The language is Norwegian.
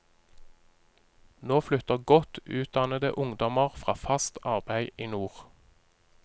Nå flytter godt utdannede ungdommer fra fast arbeid i nord.